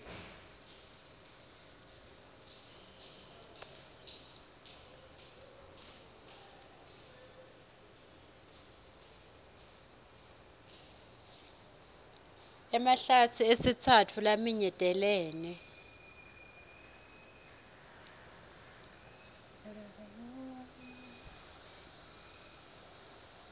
emahlatsi esitsatfu laminyetelene